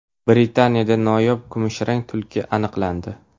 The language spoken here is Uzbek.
Britaniyada noyob kumushrang tulki aniqlandi.